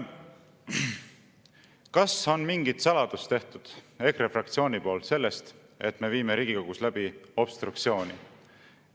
Kas EKRE fraktsioon on teinud mingit saladust sellest, et me viime Riigikogus läbi obstruktsiooni?